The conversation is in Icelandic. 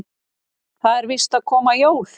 Það eru víst að koma jól.